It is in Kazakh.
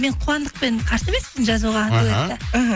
мен қуандықпен қарсы емеспін жазуға дуэтті іхі